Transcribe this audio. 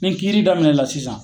Ni kiiri daminɛ la sisan